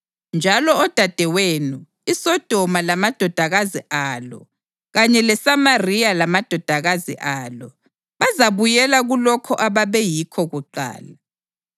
Njalo odadewenu, iSodoma lamadodakazi alo kanye leSamariya lamadodakazi alo, bazabuyela kulokho ababeyikho kuqala.